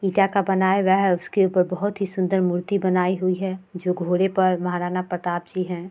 ईटा का बनाया हुआ है उसके उपर बहुत ही सुन्दर मूर्ति बनाई हुई है जो घोड़े पर महाराणा प्रताप जी हैं।